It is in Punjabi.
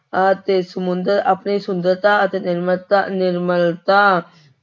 ਅਤੇ ਸਮੁੰਦਰ ਆਪਣੀ ਸੁੰਦਰਤਾ ਅਤੇ ਨਿਰਮਤਾ ਨਿਰਮਲਤਾ